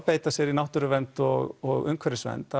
beita sér í náttúruvernd og umhverfisvernd